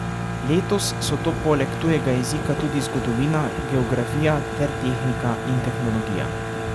Letos so to poleg tujega jezika tudi zgodovina, geografija ter tehnika in tehnologija.